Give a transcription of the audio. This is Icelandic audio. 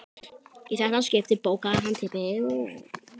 Í þetta skipti bókaði Hermann herbergi á Hótel Borg.